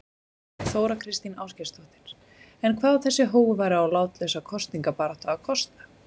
Þóra Kristín Ásgeirsdóttir: En hvað á þessi hógværa og látlausa kosningabarátta kosta?